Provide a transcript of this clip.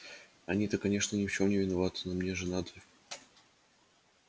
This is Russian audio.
они-то конечно ни в чём не виноваты но мне же надо